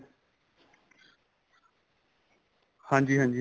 ਹਾਂਜੀ ਹਾਂਜੀ